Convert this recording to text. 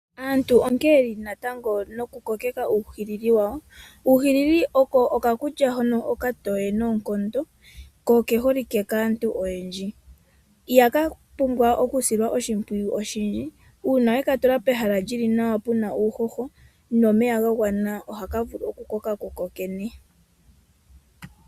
Aantu onkene yeli natango noku kokeka uuhilili wawo. Uuhilili oko okakulya hono okatowe noonkondo ko oke holike kaantu oyendji. Ihaka pumbwa okusilwa oshimpwiyu oshindji uuna weka tula pehala li li nawa puna uuhoho nomeya ga gwana ohaka vulu oku koka kukokene.